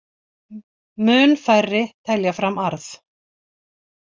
Mun færri telja fram arð